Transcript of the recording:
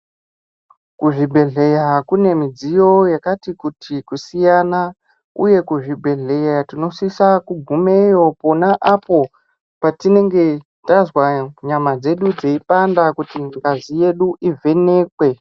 Kuzvibhehlera kune midziyo yakakuti kusiyana uye kuzvibhehlera tinosisa kugumeyo pona apo patinenge tazwa nyama dzedu dzeipanda kuti ngazi yedu ivhenekwe